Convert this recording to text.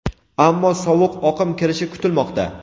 ammo sovuq oqim kirishi kutilmoqda.